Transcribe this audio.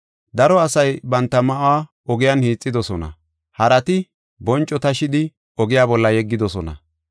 Daro asay banta ma7uwa ogiyan hiixidosona. Harati bonco tashidi oge bolla yeggidosona.